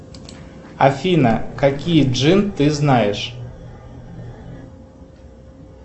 афина какие джин ты знаешь